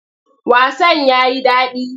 Wasan ya yi daɗi.